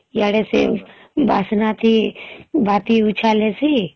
ଇଆଡ଼େ ସେ ବାସ୍ନା ଟି ବାହାରଟି ଉଛାଲେ ସି